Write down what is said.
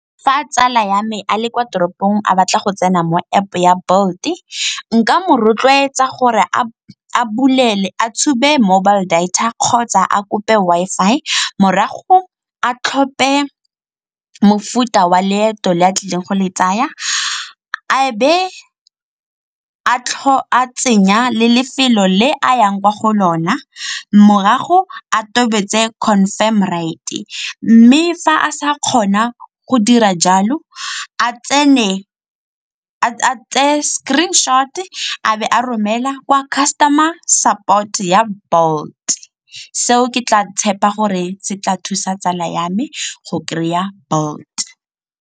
Fa tsala ya me a le kwa toropong a batla go tsena mo App-o ya Bolt-e nka mo rotloetsa gore a tshube mobile data kgotsa a kope Wi-Fi, morago a tlhope mofuta wa leeto le a tlileng go le tsaya a be a tsenya le lefelo le a yang kwa go lona, morago a totobetse confirm ride. Mme fa a sa kgona go dira jalo a tseye screenshot-e a be a romela kwa customer support-e ya Bolt, seo ke tla tshepa gore se tla thusa tsala ya me go kry-a Bolt.